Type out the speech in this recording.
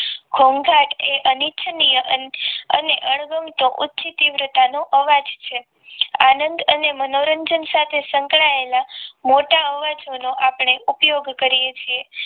ઘોંઘાટ એ અનિચ્છનીય અને અણગમતો ઊંચી તીવ્રતા નો અવાજ છે આનંદ અને મનોરંજન સાથે સંકળાયેલા મોટા અવાજોનો આપણે ઉપયોગ કરીએ છીએ